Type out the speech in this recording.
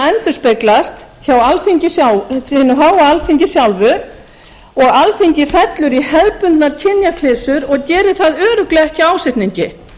endurspeglast hjá hinu háa alþingi sjálfu og alþingi fellur í hefðbundnar kynjaklisjur og gerir það örugglega ekki af ásetningi